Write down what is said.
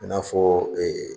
I n'a fɔ ee